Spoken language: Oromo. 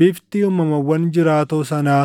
Bifti uumamawwan jiraatoo sanaa